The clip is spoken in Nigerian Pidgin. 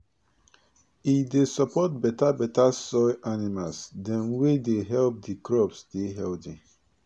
e dey support beta beta soil animals dem wey dey help di crops dey healthy